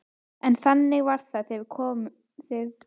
En þannig var að þegar við vorum ung og nýgift þá vorum við í stúku.